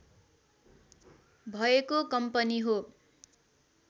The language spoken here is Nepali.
भएको कम्पनी हो